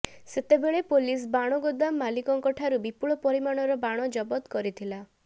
ସେତେବେଳେ ପୋଲିସ ବାଣ ଗୋଦାମ ମାଲିକଙ୍କଠାରୁ ବିପୁଳ ପରିମାଣର ବାଣ ଜବତ କରିଥିଲା